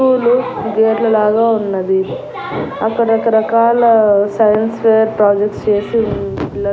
school గేట్ల లాగా ఉన్నది అక్కడ రకరకాల సైన్స్ ఫేర్ ప్రాజెక్ట్ స్ చేసి ఉంది పిల్ల--